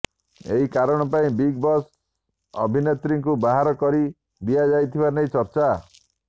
ଏହି କାରଣ ପାଇଁ ବିଗ୍ ବସ୍ରୁ ଅଭିନେତ୍ରୀଙ୍କୁ ବାହାର କରି ଦିଆଯାଇଥିବା ନେଇ ଚର୍ଚ୍ଚା